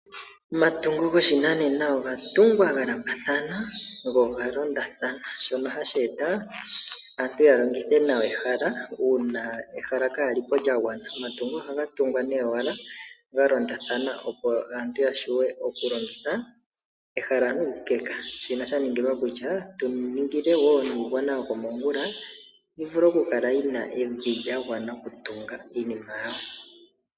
Omatungo goshinanena oga tungwa galandulathana go oga londathano shono hashi eta aantu yalongithe nawa ehala, uuna ehala kaalyi po lyagwana. Omatungo ohaga tungwa nee galondathana opo aantu ya vule oku longitha ehala nuukeka, shino shaningilwa kutya kuningilwe woo niigwana yokomongula oku kala yina evi lyagwana okutunga iinima yawo.